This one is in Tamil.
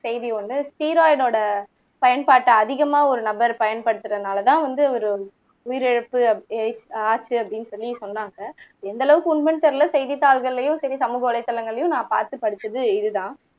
செய்தி ஒண்ணு ஸ்டெராய்டோட பயன்பாட்டை அதிகமா ஒரு நபர் பயன்படுத்துறனாலதான் வந்து ஒரு உயிரிழப்பு ஆச்சு அப்படின்னு சொல்லி சொன்னாங்க எந்த அளவுக்கு உண்மைன்னு தெரியல செய்தித்தாள்கள்லயும் சரி சமூக வலைத்தளங்கள்லயும் நான் பார்த்து படிச்சது இதுதான்